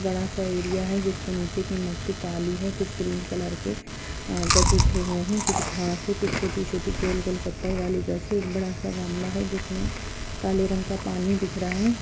बड़ा-सा एरिया है जिसके नीचे की मट्टी काली है कुछ ग्रीन कलर के अ गज उठे है| कुछ घांस है कुछ छोटी-छोटी गोल-गोल पत्थर वाली गज है यह बड़ा-सा गमला है जिसमे काले रंग का पानी दिख रहा है ।